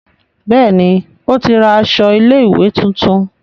Béèni o tí ra aṣọ ilé ìwé títún.